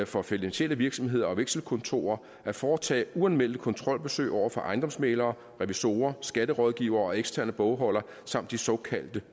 for finansielle virksomheder og vekselkontorer at foretage uanmeldte kontrolbesøg overfor ejendomsmæglere revisorer skatterådgivere og eksterne bogholdere samt de såkaldte